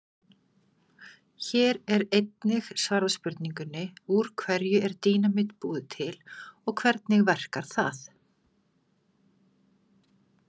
Hér er einnig svarað spurningunni: Úr hverju er dínamít búið til og hvernig verkar það?